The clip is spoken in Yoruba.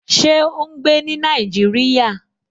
Ṣé ó n gbé ní Nàìjíríyà?